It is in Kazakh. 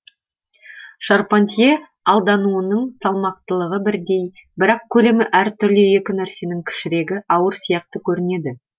шарпантье алдануының салмақтылығы бірдей бірақ көлемі әртүрлі екі нәрсенің кішірегі ауыр сияқты көрінеді